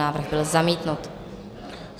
Návrh byl zamítnut.